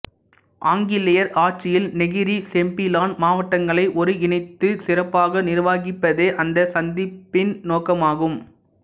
ஆங்கிலேயர் ஆட்சியில் Negeri Sembilan மாவட்டங்களை ஒருங்கிணைத்து சிறப்பாக நிர்வகிப்பதே அந்தச் சந்திப்பின் நோக்கமாகும்